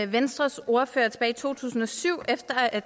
venstres ordfører tilbage i to tusind og syv efter at